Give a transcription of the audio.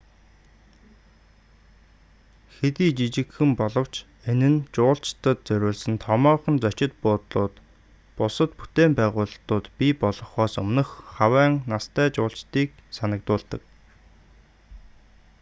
хэдий жижигхэн боловч энэ нь жуулчдад зориулсан томоохон зочид буудлууд бусад бүтээн байгуулалтууд бий болохоос өмнөх хавайн настай жуулчдыг санагдуулдаг